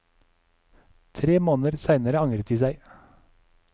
Tre måneder seinere angret de seg.